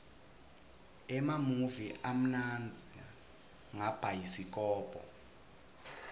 emamuvi amnandza ngabhayisikobho